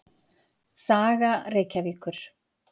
Saga Reykjavíkur.